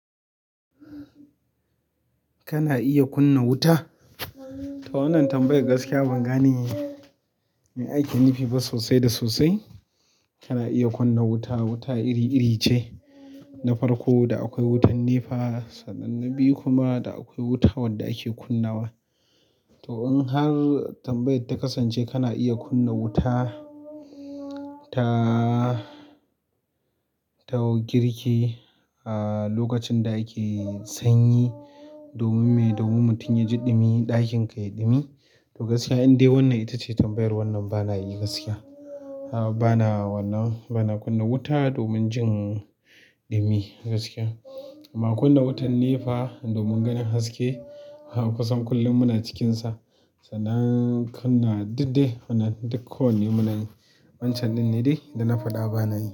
Kana iya kunna wuta? To wannan tambayar gaskiya ban gane me ake nufi ba sosai da sosai. Kana iya kunna wuta, wuta iri iri ce na farko da akwai wutan nefa sannan na biyu kuma da akwai wuta wadda ake kunnawa. To in har tambayar ta kasance kana iya kunna wuta ta. Ta girki a lokacin da ake sanyi, domin me? Domin mutum yaji ɗumi ɗakinka yai ɗumi to gaskiya in dai wannan ita ce tambayar wannan bana yi gaskiya. Bana wannan bana kunna wuta domin jin ɗumi gaskiya. Amma kunna wutan nefa domin ganin haske a kusan kullum muna cikinsa. Sanan kunna duk de wannan duk kawai ne muna yi. Wancan ɗin ne dai da na faɗa bana yi.